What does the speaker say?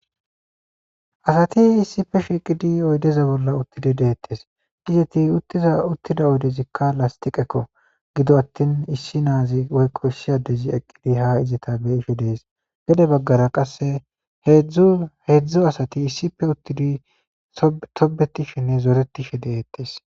Asati issippe shiiqidi oydde tarappeza bollan uttide de'etees. Giddoon uttiza uttida oydezikka lastiqako giddoppe atin issin na'azi woyko issi addiz eqqidi hayzeta be'ishe dees. Gedde baggaara qassi heezu heezu asati issippe uttidi toobbetishenne zorettishe dees.